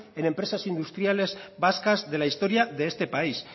en empresas industriales vascas de la historia de este país